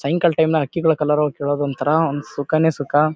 ಸಾಯಂಕಾಲ ಟೈಮ್ ನ್ಯಾಗ್ ಹಕ್ಕಿಗಳ ಕಲರವ ಕೇಳೋದು ಒಂಥರಾ ಒಂದ್ ಸುಖಾನೇ ಸುಖ.